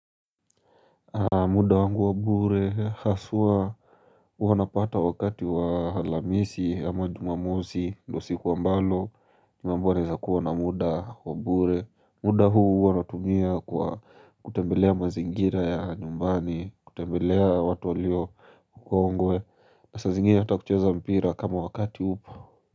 Muda wangu wa bure haswa huwa napata wakati wa halamisi ama Jumamosi ndo siku ambalo mambo yanezakuwa na muda wa bure. Muda huu huwa natumia kwa kutembelea mazingira ya nyumbani kutembelea watu walio. Saa zingine hata kucheza mpira kama wakati upo.